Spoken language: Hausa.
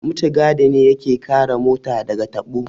Mutigadi ne ya ke kare mota da ga taɓo